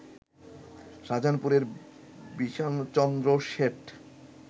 শাহজাহানপুরের Bishanchandra Seth